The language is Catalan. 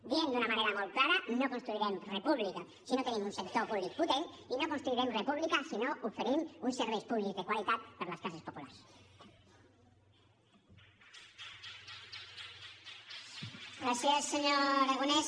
diem d’una manera molt clara no construirem república si no tenim un sector públic potent i no construirem república si no oferim uns serveis públics de qualitat per a les classes populars